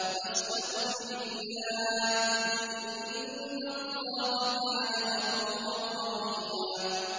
وَاسْتَغْفِرِ اللَّهَ ۖ إِنَّ اللَّهَ كَانَ غَفُورًا رَّحِيمًا